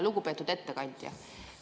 Lugupeetud ettekandja!